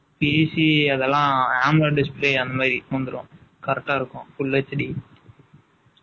Easy அதெல்லாம், ambulance display , அந்த மாதிரி புகுந்துடும். Correct ஆ இருக்கும். Full HD